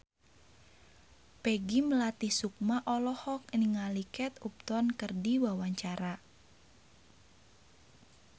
Peggy Melati Sukma olohok ningali Kate Upton keur diwawancara